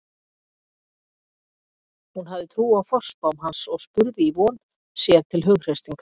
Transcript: Hún hafði trú á forspám hans og spurði í von, sér til hughreystingar.